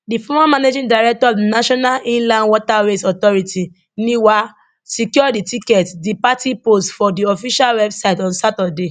di former managing director of the national inland waterways authority niwa secure di ticket di party post for di official website on saturday